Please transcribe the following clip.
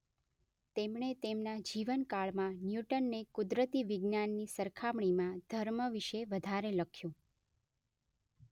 તેમણે તેમના જીવનકાળમાં ન્યૂટનને કુદરતી વિજ્ઞાનની સરખામણીમાં ધર્મ વિશે વધારે લખ્યું.